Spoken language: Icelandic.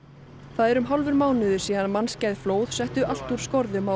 það er um hálfur mánuður síðan mannskæð flóð setti allt úr skorðum á